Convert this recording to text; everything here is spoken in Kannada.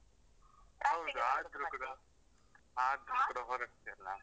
ಹೌದ್ ಆದ್ರು ಕೂಡ. ಆದ್ರು ಕೂಡ ಹೋರಡ್ತೀಯಲ್ಲ?